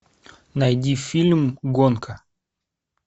найди фильм гонка